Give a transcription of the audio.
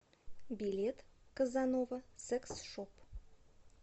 билет казанова секс шоп